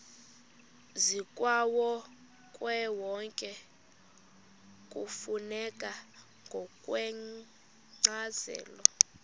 zikawonkewonke kufuneka ngokwencazelo